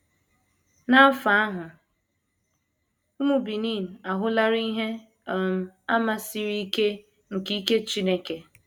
N’afọ ahụ, ụmụ Benin ahụlarị ihe um àmà siri ike nke ike Chineke.